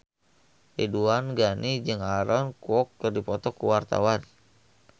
Ridwan Ghani jeung Aaron Kwok keur dipoto ku wartawan